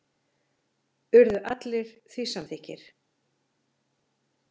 Urðu allir samþykkir því.